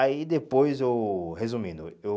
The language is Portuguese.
Aí depois eu... Resumindo, eu...